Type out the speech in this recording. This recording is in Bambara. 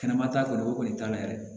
Kɛnɛma t'a bolo o kɔni t'a la yɛrɛ